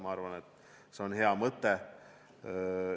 Ma arvan, et see on hea mõte.